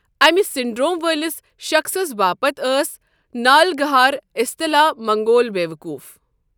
امہِ سینڈر٘وم وٲلِس شخٕصَس باپتھ ٲس نالَگہار اسطلاح منگول بیوقوف۔